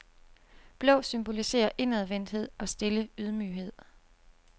Blå symboliserer indadvendthed og stille ydmyghed.